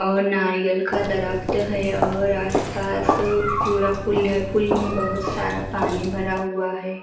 और नारियल का दरख्त है और आसपास पूरा पुल है पुल में बहुत सारा पानी भरा हुआ है।